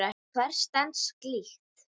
Hver stenst slíkt?